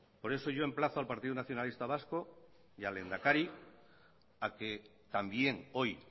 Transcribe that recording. por eso yo emplazo al partido nacionalista vasco y al lehendakari a que también hoy